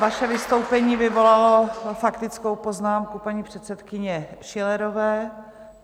Vaše vystoupení vyvolalo faktickou poznámku paní předsedkyně Schillerové.